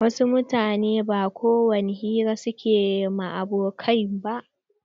Wasu mutanen ba kowani hira suke ma abokai ba.